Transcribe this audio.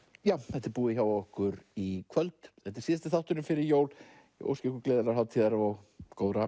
þetta er búið hjá okkur í kvöld þetta er síðasti þátturinn fyrir jól ég óska ykkur gleðilegrar hátíðar og góðra